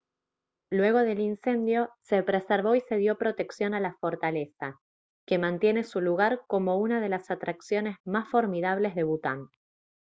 luego del incendio se preservó y se dio protección a la fortaleza que mantiene su lugar como una de las atracciones más formidables de bután